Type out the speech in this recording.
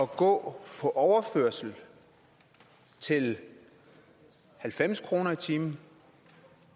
gå på overførsel til halvfems kroner i timen